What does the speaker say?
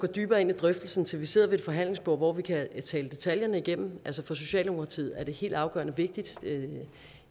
dybere ind i drøftelsen til vi sidder ved et forhandlingsbord hvor vi kan tale detaljerne igennem for socialdemokratiet er det helt afgørende vigtigt